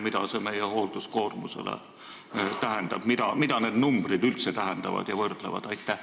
Mida see meie hoolduskoormusele tähendab, mida need arvud üldse tähendavad ja mida võrreldakse?